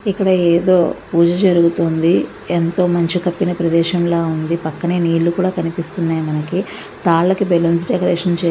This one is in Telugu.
ఇక్కడ ఏదో పూజ జరుగుతుంది ఎంతో మంచు కప్పిన ప్రదేశం లాగా ఉంది. పక్కనే నీళ్ళు కూడా కనిపిస్తున్నాయి మనకి తాళ్ళకి బలూన్స్ డెకరేషన్ --